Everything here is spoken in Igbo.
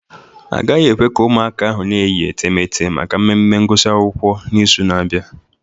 Agaghị ekwe ka ụmụaka ahụ na-eyi etemeete maka mmemme ngụsị akwụkwọ n'izu na-abịa